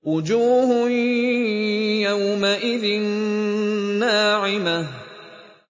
وُجُوهٌ يَوْمَئِذٍ نَّاعِمَةٌ